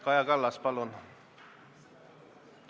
Kaja Kallas, palun!